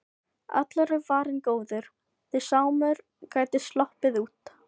Allur er varinn góður, því Sámur gæti sloppið út.